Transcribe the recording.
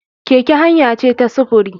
Keke hanya ce ta sufuri.